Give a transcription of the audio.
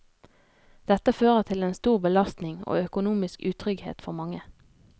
Dette fører til en stor belastning og økonomisk utrygghet for mange.